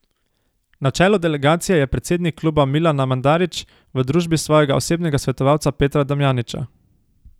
Na čelu delegacije je predsednik kluba Milana Mandarić v družbi svojega osebnega svetovalca Petra Damjanića.